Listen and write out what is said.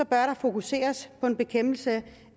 der fokuseres på en bekæmpelse